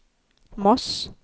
Moss